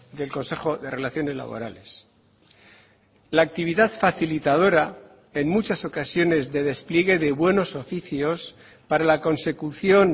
del consejo de relaciones laborales la actividad facilitadora en muchas ocasiones de despliegue de buenos oficios para la consecución